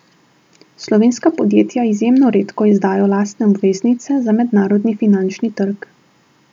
Slovenska podjetja izjemno redko izdajo lastne obveznice za mednarodni finančni trg.